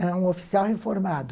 Era um oficial reformado.